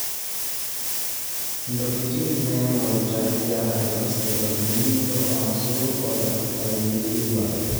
intokitin naaing'ori igira agelu sipitali nilo aashu oldakitari liduaare